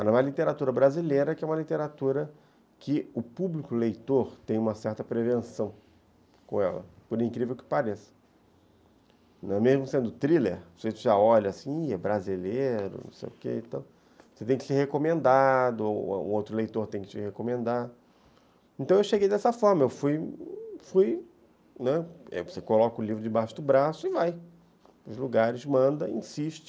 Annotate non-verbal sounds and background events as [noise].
[unintelligible] literatura brasileira que é uma literatura que o público leitor tem uma certa prevenção com ela, por incrível que pareça, né, mesmo sendo thriller, você já olha assim, é brasileiro, não sei o que. Então, você tem que ser recomendado ou outro leitor tem que te recomendar, então eu cheguei dessa forma, eu fui fui, né, você coloca o livro debaixo do braço e vai aos lugares, manda e insiste.